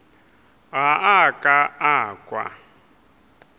ga a ka a kwa